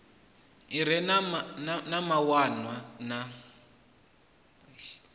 i re na mawanwa na